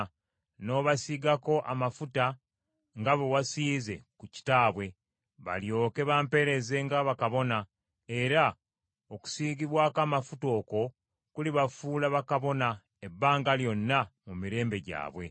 n’obasiigako amafuta, nga bwe wasiize ku kitaabwe, balyoke bampeereze nga bakabona: era okusiigibwako amafuta okwo kulibafuula bakabona ebbanga lyonna mu mirembe gyabwe.”